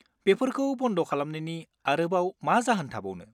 बेफोरखौ बन्द खालामनायनि आरोबाव मा जाहोन थाबावनो।